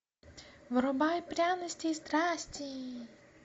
врубай пряности и страсти